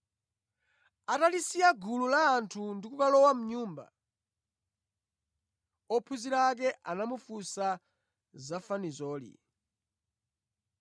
Atalisiya gulu la anthu ndi kulowa mʼnyumba, ophunzira ake anamufunsa za fanizoli